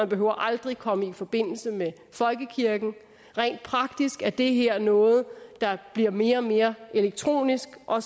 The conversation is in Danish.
behøver aldrig komme i forbindelse med folkekirken rent praktisk er det her noget der bliver mere og mere elektronisk og